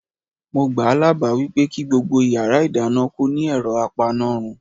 Mo gbáà lábàá wípé kí gbogbo yàrá ìdáná kó ní ẹ̀rọ apanárun.